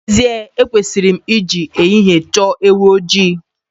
N'ezie ekwesịrị m ị ji ehihie chọọ ewu ojii.